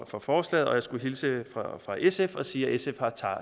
for forslaget og jeg skulle hilse fra sf og sige at sf har